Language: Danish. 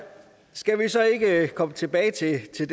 skal vi så ikke komme tilbage til